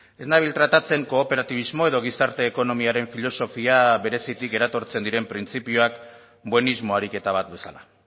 ez nabil tratatzen kooperatibismo edo gizarte ekonomiaren filosofia berezitik eratortzen diren printzipioak buenismo ariketa bat bezala